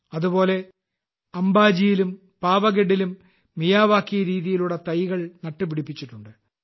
അതുപോലെ അംബാജിയിലും പാവാഗഡിലും മിയാവാക്കി രീതിയിലൂടെ തൈകൾ നട്ടുപിടിപ്പിച്ചിട്ടുണ്ട്